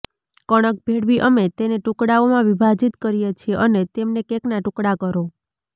કણક ભેળવી અમે તેને ટુકડાઓમાં વિભાજીત કરીએ છીએ અને તેમને કેકના ટુકડા કરો